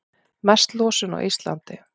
Mest losun á Íslandi